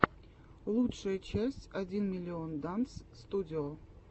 лучшая часть один миллион данс студио